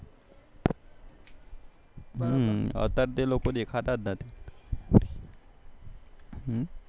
અતરે તો એ બધા દેખાતા જ નથી